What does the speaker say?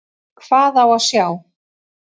Hvað á að sjá?